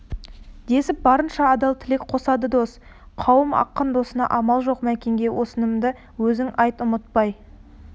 десіп барынша адал тілек қосады дос қауым ақын досына амал жоқ мәкенге осынымды өзің айт ұмытпай